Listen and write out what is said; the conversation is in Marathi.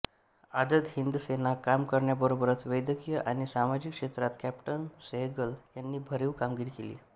आझाद हिंद सेनेत काम करण्याबरोबरच वैद्यकीय आणि सामाजिक क्षेत्रात कॅप्टन सेहेगल यांनी भरीव कामगिरी केली